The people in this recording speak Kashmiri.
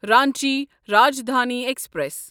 رانچی راجدھانی ایکسپریس